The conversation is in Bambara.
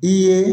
I ye